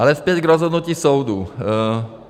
Ale zpět k rozhodnutí soudu.